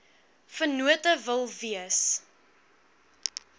vennote wil wees